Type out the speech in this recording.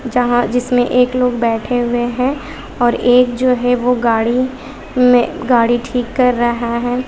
जहां जिसमें एक लोग बैठे हुए हैं और एक जो है वो गाड़ी में गाड़ी ठीक कर रहा हैं।